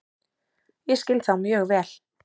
Ég skil þá mjög vel.